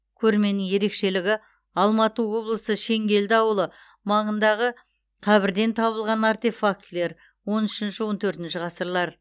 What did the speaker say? көрменің ерекшелігі алматы облысы шеңгелді ауылы маңындағы қабірден табылған артефактілер он үшінші он төртінші ғасырлар